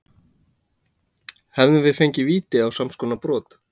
Hefðum við fengið víti á samskonar brot?